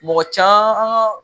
Mɔgɔ can